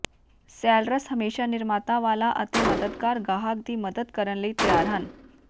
sellers ਹਮੇਸ਼ਾ ਨਿਮਰਤਾ ਵਾਲਾ ਅਤੇ ਮਦਦਗਾਰ ਗਾਹਕ ਦੀ ਮਦਦ ਕਰਨ ਲਈ ਤਿਆਰ ਹਨ